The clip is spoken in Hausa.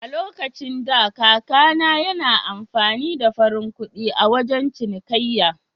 A lokacin da, kaka na yana amfani da farin kuɗi a wajan cinikayya.